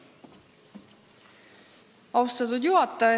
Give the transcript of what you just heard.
Austatud juhataja!